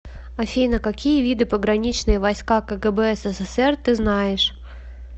афина какие виды пограничные войска кгб ссср ты знаешь